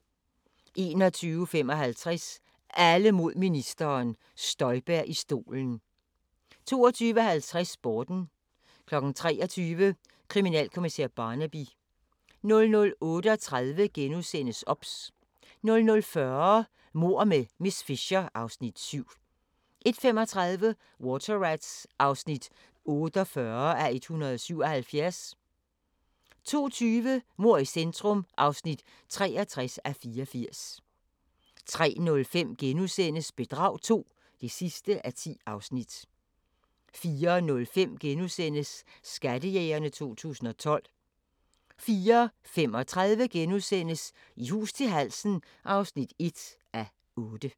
21:55: Alle mod ministeren: Støjberg i stolen 22:50: Sporten 23:00: Kriminalkommissær Barnaby 00:38: OBS * 00:40: Mord med miss Fisher (Afs. 7) 01:35: Water Rats (48:177) 02:20: Mord i centrum (63:84) 03:05: Bedrag II (10:10)* 04:05: Skattejægerne 2012 * 04:35: I hus til halsen (1:8)*